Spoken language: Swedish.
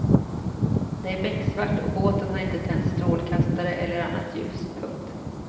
Det är becksvart och båten har inte tänt strålkastare eller annat ljus. punkt